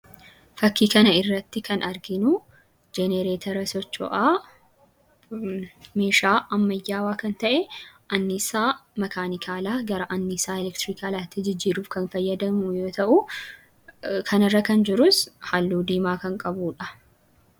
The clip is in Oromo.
Fakkii kana irratti kan arginu jenereetara socho'aa meeshaa ammayyaawaa kan ta'e, anniisaa makaanikaalaa gara anniisaa elekrikaatti jijjiiruuf kan fayyadan yoo ta'u, fakkii kana irratti kan argamus halluun isaa diimaadha.